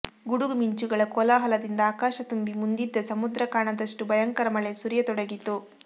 ಗುಡುಗು ಮಿಂಚುಗಳ ಕೋಲಾಹಲದಿಂದ ಆಕಾಶ ತುಂಬಿ ಮುಂದಿದ್ದ ಸಮುದ್ರ ಕಾಣದಷ್ಟು ಭಯಂಕರ ಮಳೆ ಸುರಿಯತೊಡಗಿತು